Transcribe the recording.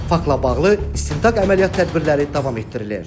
Faktla bağlı istintaq əməliyyat tədbirləri davam etdirilir.